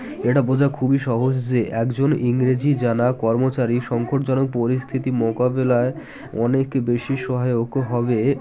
এটা বোঝা খুবই সহজ যে একজন ইংরেজি জানা কর্মচারী সংকট জনক পরিস্থিতি মোকাবিলায় অনেক বেশি সহায়ক হবে